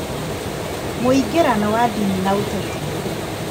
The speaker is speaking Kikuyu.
Mũingĩrano wa ndini na ũteti